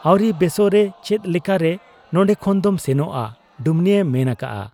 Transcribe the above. ᱼᱼᱟᱹᱣᱨᱤ ᱵᱮᱥᱚᱜ ᱨᱮ ᱪᱮᱫ ᱞᱮᱠᱟᱨᱮ ᱱᱚᱱᱰᱮ ᱠᱷᱚᱱ ᱫᱚᱢ ᱥᱮᱱᱚᱜ ᱟ ? ᱰᱩᱢᱱᱤᱭᱮ ᱢᱮᱱ ᱟᱠᱟᱜ ᱟ ᱾